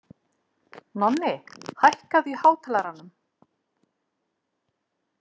Nonni, hækkaðu í hátalaranum.